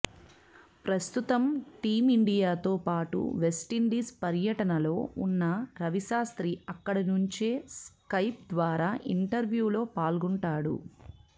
ప్రస్తుతం టీమిండియాతో పాటు వెస్టిండీస్ పర్యటనలో ఉన్న రవిశాస్త్రి అక్కడి నుంచే స్కైప్ ద్వారా ఇంటర్వ్యూలో పాల్గొంటాడు